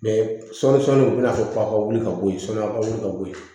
sɔɔni sɔni u bɛna fɔ a ka wuli ka bɔ yen sɔɔni a ka wuli ka bɔ yen